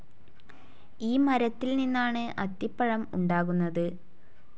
ഈ മരത്തിൽ നിന്നാണ് അത്തിപ്പഴം ഉണ്ടാകുന്നത്.